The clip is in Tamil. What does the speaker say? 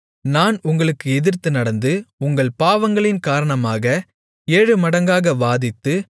நான் உங்களுக்கு எதிர்த்து நடந்து உங்கள் பாவங்களின் காரணமாக ஏழுமடங்காக வாதித்து